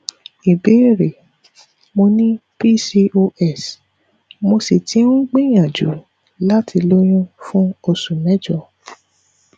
ìbéèrè mo ní pcos mo sì ti ń gbìyànjú láti lóyún fún oṣù mẹjọ